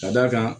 Ka d'a kan